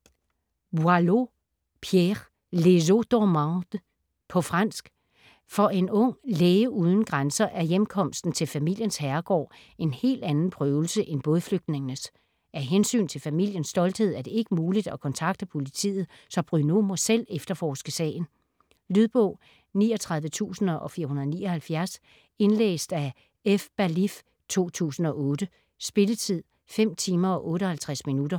Boileau, Pierre: Les eaux dormantes På fransk. For en ung 'læge uden grænser' er hjemkomsten til familiens herregård en hel anden prøvelse end bådflygningenes. Af hensyn til familiens stolthed er det ikke muligt at kontakte politiet, så Bruno må selv efterforske sagen. Lydbog 39479 Indlæst af F. Ballif, 2008. Spilletid: 5 timer, 58 minutter.